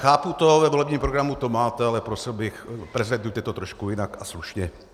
Chápu to, ve volebním programu to máte, ale prosil bych, prezentujte to trošku jinak a slušně.